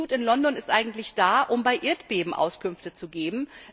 Das Institut in London ist eigentlich dazu da, um bei Erdbeben Auskünfte zu geben.